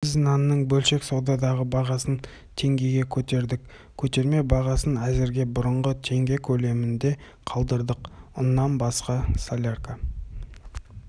біз нанның бөлшек саудадағы бағасын теңгеге көтердік көтерме бағасын әзірге бұрынғы теңге көлемінде қалдырдық ұннан басқасолярка